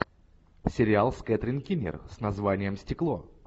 сериал с кэтрин кинер с названием стекло